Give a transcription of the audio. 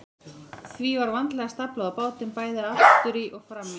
Því var vandlega staflað á bátinn, bæði aftur í og fram í.